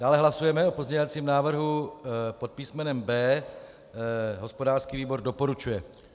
Dále hlasujeme o pozměňovacím návrhu pod písmenem B. Hospodářský výbor doporučuje.